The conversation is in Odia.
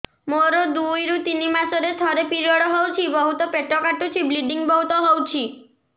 ମୋର ଦୁଇରୁ ତିନି ମାସରେ ଥରେ ପିରିଅଡ଼ ହଉଛି ବହୁତ ପେଟ କାଟୁଛି ବ୍ଲିଡ଼ିଙ୍ଗ ବହୁତ ହଉଛି